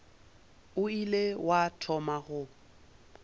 o ile wa thoma go